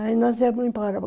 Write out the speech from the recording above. Aí nós viemos embora.